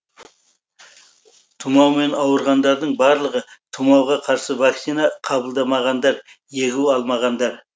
тұмаумен ауырғандардың барлығы тұмауға қарсы вакцина қабылдамағандар егу алмағандар